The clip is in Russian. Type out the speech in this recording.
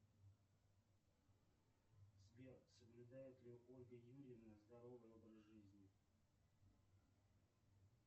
сбер соблюдает ли ольга юрьевна здоровый образ жизни